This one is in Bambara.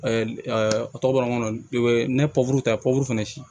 a tɔgɔ bɔra n kɔnɔ u be ne pupuru ta ci